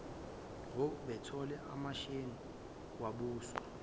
ngobethole emashengeni kwabuswa